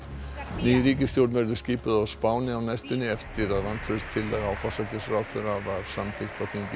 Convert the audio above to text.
ný ríkisstjórn verður skipuð á Spáni á næstunni eftir að vantrauststillaga á forsætisráðherra var samþykkt á þingi í